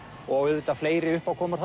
og auðvitað fleiri uppákomur